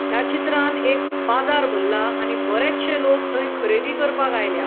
या चित्रान एक बाजार भरला आणि बरेचशे लोक थैय खरेदी करपाक आयल्या.